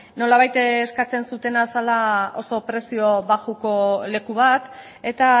nolabait eskatzen zutena zela oso prezio baxuko leku bat eta